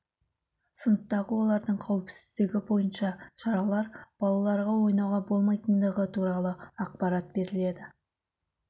сыныптағы олардың қауіпсіздігі бойынша шаралар балаларға ойнауға болмайтындығы туралы ақпарат беріледі